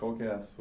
Qual que é a sua